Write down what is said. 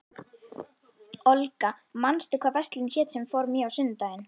Olga, manstu hvað verslunin hét sem við fórum í á sunnudaginn?